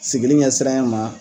Sigili ɲɛsiranya ma